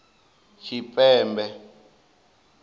tshipembe